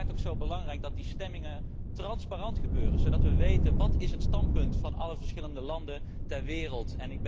Het is belangrijk dat die stemmingen transparant gebeuren, zodat wij weten wat het standpunt is van alle verschillende landen ter wereld.